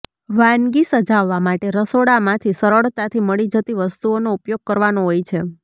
વાનગી સજાવવા માટે રસોડામાંથી સરળતાથી મળી જતી વસ્તુઓનો ઉપયોગ કરવાનો હોય છે